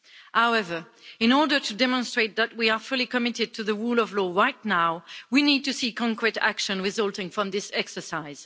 However, in order to demonstrate that we are fully committed to the rule of law right now, we need to see concrete action resulting from this exercise.